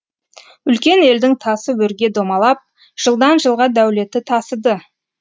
үлкен елдің тасы өрге домалап жылдан жылға дәулеті тасыды